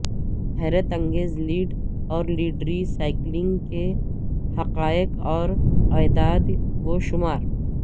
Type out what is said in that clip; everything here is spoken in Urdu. حیرت انگیز لیڈ اور لیڈ ری سائیکلنگ کے حقائق اور اعداد و شمار